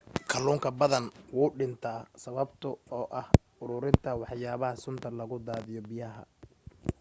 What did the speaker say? kaluunka badan wuuw dhinta sababta oo ah uruurinta waxyaba sunta lagu daadiyo biyaha